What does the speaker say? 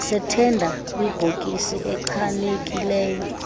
sethenda kwibhokisi echanekileyo